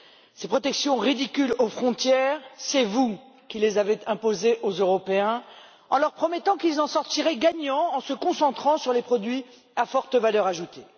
Ces protections ridicules aux frontières, c'est vous qui les avez imposées aux Européens en leur promettant qu'ils en sortiraient gagnants en se concentrant sur les produits à forte valeur ajoutée.